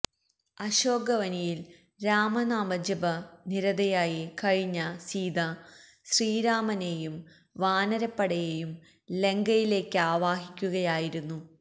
അശോക വനിയില് രാമനാമജപ നിരതയായി കഴിഞ്ഞ സീത ശ്രീരാമനേയും വാനരപ്പടയേയും ലങ്കയിലേക്കാവാഹിക്കുകയായിരുന്നു